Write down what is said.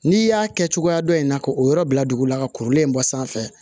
N'i y'a kɛ cogoya dɔ in na ka o yɔrɔ bila dugu la ka kurulen in bɔ sanfɛ